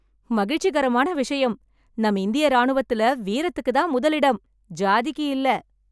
மகிழ்ச்சிகரமான விஷயம், நம்ம இந்திய ராணுவத்துல வீரத்துக்குதான் முதல் இடம், சாதிக்கு இல்ல.